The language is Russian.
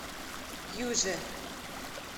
юже